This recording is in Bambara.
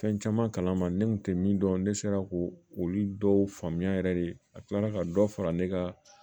Fɛn caman kalan ma ne kun tɛ min dɔn ne sera ko olu dɔw faamuya yɛrɛ de a kila la ka dɔ fara ne ka